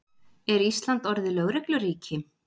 Er Ísland orðið lögregluríki?